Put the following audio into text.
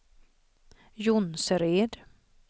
Jonsered